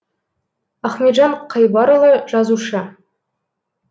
ахметжан қайбарұлы жазушы